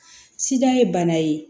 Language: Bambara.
Sidan ye bana ye